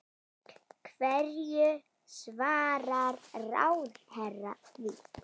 Hverju svarar ráðherra því?